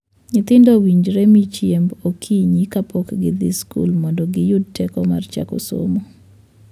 Nyithindo owinjore mii chiemb okinyi kapok gidhii skul mondo giyud teko mar chako somo.